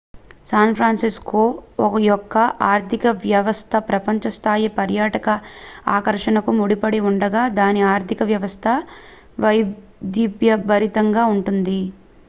San Francisco యొక్క ఆర్ధికవ్యవస్థ ప్రపంచ స్థాయి పర్యాటక ఆకర్షణకు ముడిపడి ఉండగా దాని ఆర్థిక వ్యవస్థ వైవిధ్యభరితంగా ఉంటుంది